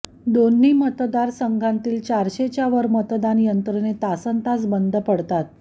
दोन्ही मतदारसंघांतील चारशेच्या वर मतदान यंत्रे तासन्तास बंद पडतात